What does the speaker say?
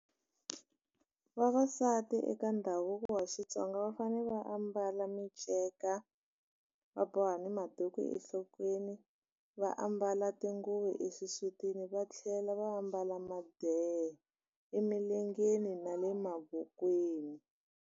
Vavasati eka ndhavuko wa Xitsonga va fanele va ambala minceka va boha ni maduku enhlokweni va ambala tinguvi exisutini va tlhela va ambala madeha emilengeni na le mavokweni.